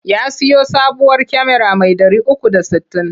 Ya siyo sabuwar kyamara mai 360.